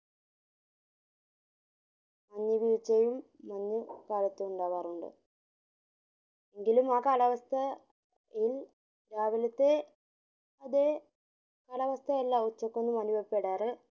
മഞ്ഞു വീഴ്ചയും മഞ്ജു കാലത്തുണ്ടാവാറുണ്ട് എന്കളിലും ആ കാലാവസ്ഥ ഇൽ രാവിലത്തെ അതെ കാലാവസ്ഥ അല്ല ഉച്ചക് അനുഭവപെടാര്